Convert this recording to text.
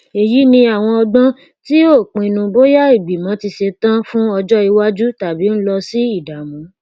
èyí ni àwọn ọgbọn tí ó pínnu bóya ìgbìmọ ti ṣetọn fún ọjọ ìwájú tàbí ń lọ sí ìdààmú